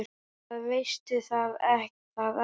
Það veistu er það ekki?